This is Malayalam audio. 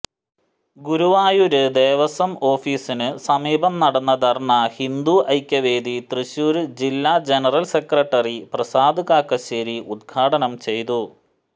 ഗുരുവായൂര് ദേവസ്വം ഓഫീസിന് സമീപം നടന്ന ധര്ണ ഹിന്ദുഐക്യവേദി തൃശൂര് ജില്ലാ ജനറല് സെക്രട്ടറി പ്രസാദ് കാക്കശ്ശേരി ഉദ്ഘാടനം ചെയ്തു